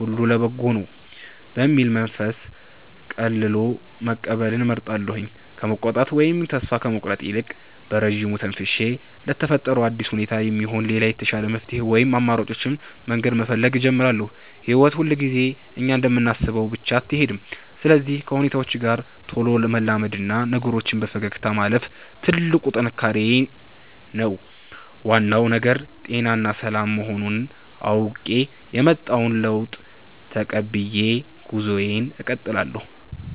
ሁሉ ለበጎ ነው» በሚል መንፈስ ቀልሎ መቀበልን እመርጣለሁ። ከመቆጣት ወይም ተስፋ ከመቁረጥ ይልቅ፣ በረጅሙ ተንፍሼ ለተፈጠረው አዲስ ሁኔታ የሚሆን ሌላ የተሻለ መፍትሔ ወይም አማራጭ መንገድ መፈለግ እጀምራለሁ። ሕይወት ሁልጊዜ እኛ እንደምናስበው ብቻ አትሄድም፤ ስለዚህ ከሁኔታዎች ጋር ቶሎ መላመድና ነገሮችን በፈገግታ ማለፍ ትልቁ ጥንካሬዬ ነው። ዋናው ነገር ጤናና ሰላም መሆኑን አውቄ፣ የመጣውን ለውጥ ተቀብዬ ጉዞዬን እቀጥላለሁ።